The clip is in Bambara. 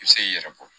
I bɛ se k'i yɛrɛ bɔ